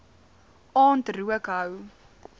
aand rook hou